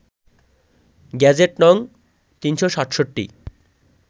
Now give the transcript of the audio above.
gazette নং ৩৬৭